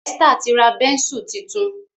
Esther tí ra Bẹ́ńsù títún.